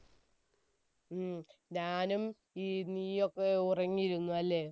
ഉം, ഞാനും നീയുമൊക്കെ ഉറങ്ങിയിരുന്നു അല്ലെ?